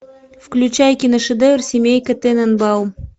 включай киношедевр семейка тененбаум